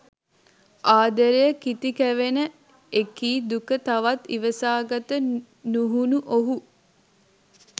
ආදරය කිති කැවෙන එකී දුක තවත් ඉවසාගත නුහුනු ඔහු